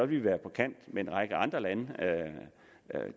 vi være på kant med en række andre lande